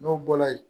N'o bɔla yen